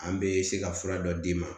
An bɛ se ka fura dɔ d'i ma